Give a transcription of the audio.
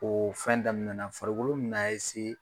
O fɛn daminɛna farikolo bɛ na